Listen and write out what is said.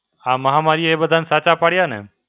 આ મહામારીએ બધાને સાચા પડ્યા ને.